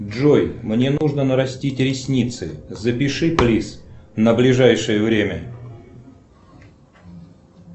джой мне нужно нарастить ресницы запиши плиз на ближайшее время